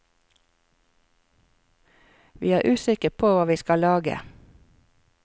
Vi er usikre på hva vi skal lage.